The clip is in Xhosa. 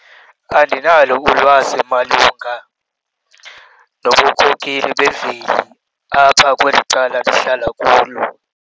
Andinalo ulwazi malunga nobunkokheli bemveli apha kweli cala ndihlala kulo.